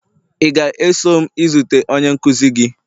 ị ga-eso m izute onye nkuzi gị?